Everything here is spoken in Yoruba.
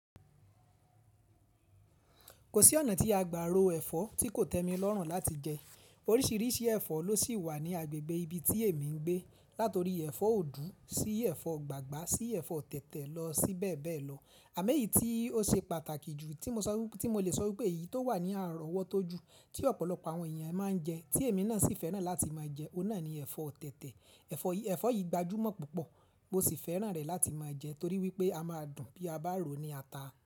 Kò sí ọ̀nà tí a gbá ro ẹ̀fọ́ tí kò tẹ́mi lọ́rùn láti jẹ. Oríṣìíríṣìí ẹ̀fọ́ ló sì wà ní agbègbè ibi tí èmi ń gbé. Látori ẹ̀fọ́ ọ̀dù, sí ẹ̀fọ́ gbàgbá, sí ẹ̀fọ́ tẹ̀tẹ̀ lọ sí bẹ́ẹ̀ bẹ́ẹ̀ lọ. Àmọ́ èyí tí ó ṣe pàtàkì jù tí mo lè sọ wípé èyí tó wà ní àrọ́ ọwọ́ tó ju tí ọ̀pọ̀lọpọ̀ àwọn èèyàn máa ń jẹ, tí èmi náà sì fẹ́ràn láti máa jẹ, ó náà ni ẹ̀fọ́ tẹ̀tẹ̀. Ẹ̀fọ́ yìí gbajúmọ̀ púpọ̀ mo sì fẹ́ràn rẹ̀ láti máa jẹ torí wípé a máa dùn bí a bá ró ní ata.